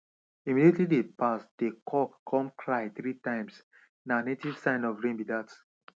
immediately dey pass dey c9ck come cry three times na native sign of rain be dat